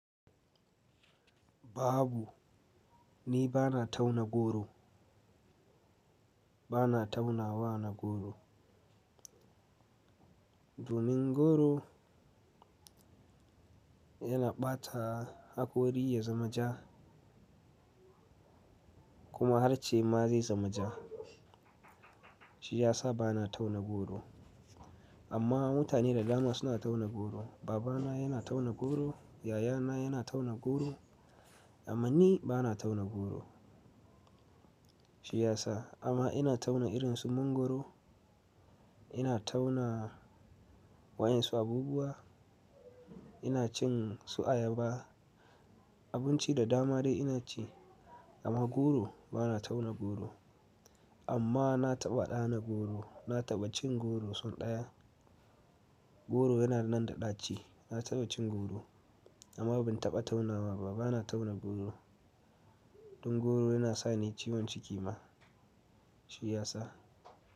Babu, ni bana tauna goro. Bana tauna wa na goro. Domin goro yana ɓata hakori ya zama ja kuma harce ma zai zama ja. Shi ya sa bana tauna goro. Amma mutane da dama suna tauna goro. Babana yana tauna goro, yayana yana tauna goro amma ni bana tauna goro. Shi ya sa amma ina tauna irin su mangoro, ina tauna wayan su abubuwa, ina cin su ayaba. Abinci da dama dai ina ci amma goro bana tauna goro. Amma na taɓa ɗana goro, na taɓa cin goro so ɗaya. Goro yana nan da ɗaci. Na taɓa cin goro amma ban taɓa taunawa ba. Bana tauna goro. Don goro yana sani ciwon ciki ma. Shi ya sa.